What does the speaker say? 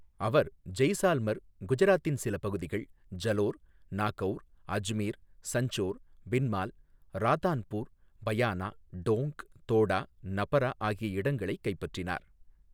அவர் ஜெய்சால்மர், குஜராத்தின் சில பகுதிகள், ஜலோர், நாகௌர், அஜ்மீர், சஞ்சோர், பின்மால், ராதான்பூர், பயானா, டோங்க், தோடா, நபரா ஆகிய இடங்களைக் கைப்பற்றினார்.